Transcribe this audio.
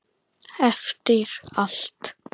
Eftir allt.